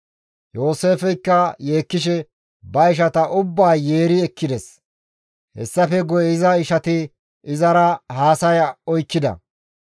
Yooseefeykka yeekkishe ba ishata ubbaa yeeri yeeri ekkides. Hessafe guye iza ishati izara haasaya oykkida.